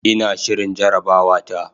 Ina shirin jarabawata.